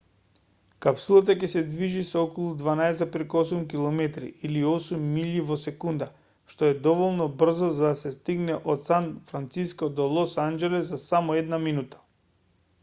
капсулата ќе се движи со околу 12,8 km или 8 милји во секунда што е доволно брзо за да се стигне од сан франциско до лос анџелес за само една минута